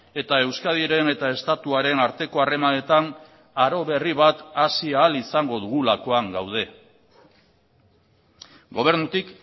eta euskadiren eta estatuaren arteko harremanetan aro berri bat hasi ahal izango dugulakoan gaude gobernutik